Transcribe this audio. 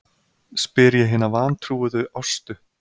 spyr ég hina vantrúuðu Ástu.